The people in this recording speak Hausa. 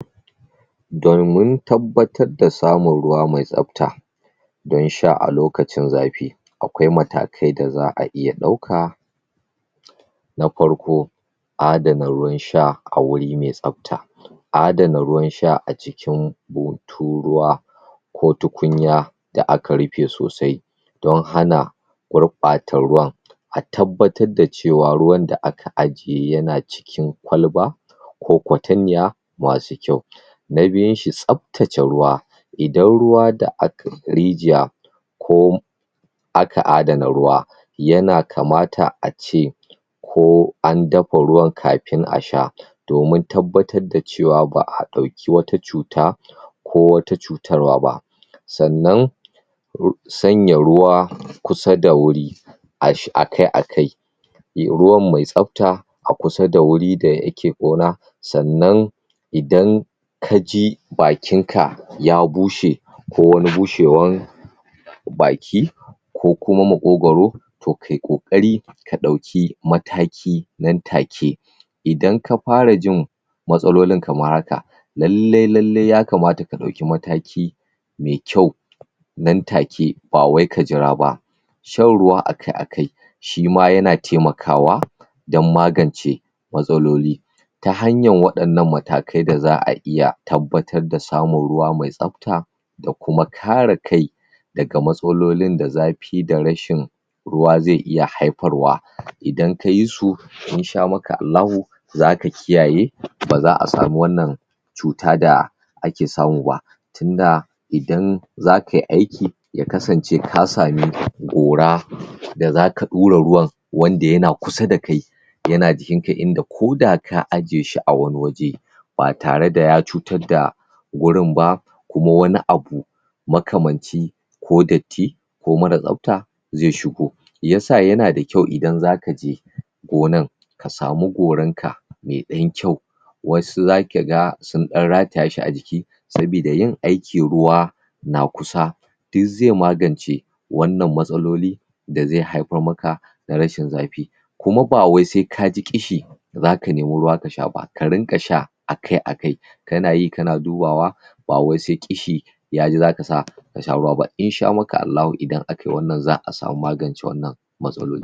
domin tabbatar da samun ruwa me tsafta don sha a lokacin zafi akwai matakai da za'a iya ɗauka na farko adana ruwan sha a guri me tsafta adana ruwan sha a cikin butun ruwa ko tukunya da aka rufe sosai don hana gurɓata ruwan a tabbatar da cewa ruwan da aka ajiye yana cikin kwalba ko kwatanniya masu kyau na biyun shi tsaftace ruwa idan ruwa da aka rijiya ko aka adana ruwa yana kamata ace ko an dafa ruwan kamin a sha domin tabbatar da cewa ba'a ɗauki wata cuta ko wata cutarwa ba sannan sanya ruwa kusa da wuri ash akai akai ruwa me tsafta a kusa da wuri da yake gona sannan idan kaji bakin ka ya bushe ko wani bushewan baki ko kuma maƙogaro to kayi ƙoƙari ka ɗauki mataki nan take idan ka fara jin matsalolin kamar haka lallai lallai ya kamata ka ɗauki mataki me kyau nan take bawai ka jira ba shan ruwa akai akai shima yana taimakawa dan magance matsaloli ta hanyar waɗannan matakai da za'a iya tabbatar da samun ruwa me tsafta ta kuma kare kai daga matsalolin da zafi da rashin ruwa ze iya haifarwa idan kayi su insha maka Allahu zaka kiyaye baza a samu wannan cuta da ake samu ba tunda idan zakai aiki ya kasance ka sami gora da zaka ɗura ruwan wanda yana kusa da kai yana jikin ka inda koda ka ajiye shi a wani waje ba tare da ya cutar da gurin ba koma wani abu makamanci ko datti ko mara tsafta ze shigo shiyasa yana da kyau idan zaka je gonan ka samu goran ka me ɗan kyau wasu zaka ga sun ɗan rataya shi a jiki sabida yin aiki ruwa na kusa duk ze magance wannan matsaloli da ze haifar maka da rashin zafi kuma ba wai se kaji ƙishi zaka nemi ruwa kasha ba karinƙa sha akai akai kana yi kana dubawa bawai se ƙishi yaji zaka sa kasha ruwa ba insha maka Allahu idan akai wannan za'a samu magance wannan matsaloli